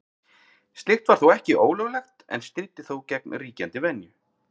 Slíkt var ekki ólöglegt en stríddi þó gegn ríkjandi venju.